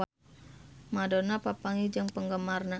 Madonna papanggih jeung penggemarna